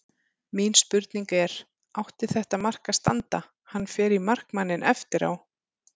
Mín spurning er: Átti þetta mark að standa, hann fer í markmanninn eftir á?